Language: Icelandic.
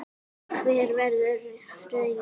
Hver verður raunin?